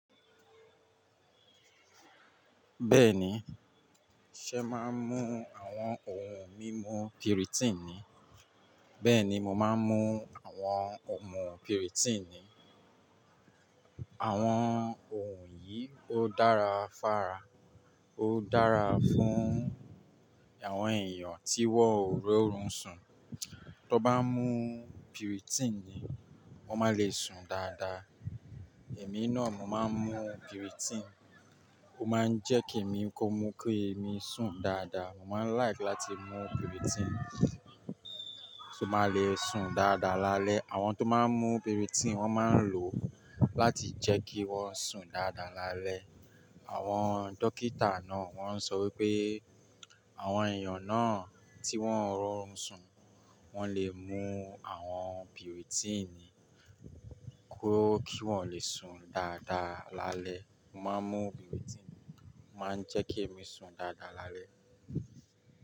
Bẹ́ẹ̀ni, ṣẹ máa ń mú àwọn òun mímu pirotini. Bẹ́ẹ̀ni, mo máa ń mú àwọn òun mimu pirotini. Àwọn òun yìí ó dára fára, ó dára fún àwọn èèyàn tí wọ́n ro orun sùn. Tọ bá mú pirotini, wọn máa le sùn dáadáa. Èmi náà mo máa ń mú piritin, ó máa ń jẹ́ kí èmi kó mú kí èmi sùn dáadáa. Mo máa ń like láti mú piritin, ṣo máa le sùn dáadáa lálẹ́. Àwọn tó máa ń mú piritin wọ́n máa ń lò ó láti jẹ́ kí wọ́n sùn dáadáa lálẹ́. Àwọn dókítà náà wọ́n ń sọ wípé àwọn èèyàn náà tí wọ́n ń ro orun sùn, wọn le mú àwọn piritin kí wọ́n le sùn dáadáa lálẹ́. Mo máa ń mú piritin, ó máa ń jẹ́ kí èmi sùn dáadáa lálẹ́